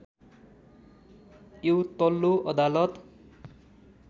यो तल्लो अदालत